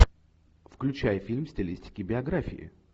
включай фильм в стилистике биографии